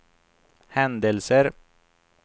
händelser